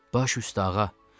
Baş üstə ağa.